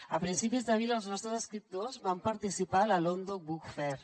a principis d’abril els nostres escriptors van participar a la london book fair